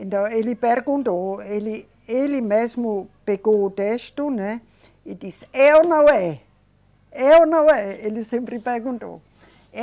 Então, ele perguntou, ele, ele mesmo pegou o texto, né, e disse, é ou não é. É ou não é, ele sempre perguntou.